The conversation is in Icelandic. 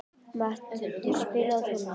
Matthildur, spilaðu tónlist.